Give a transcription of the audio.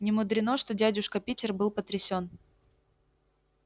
немудрено что дядюшка питер был потрясен